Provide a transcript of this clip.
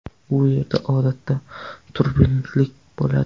U yerda odatda turbulentlik bo‘ladi.